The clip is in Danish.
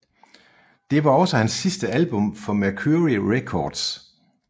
Det var også hans sidste album for Mercury Records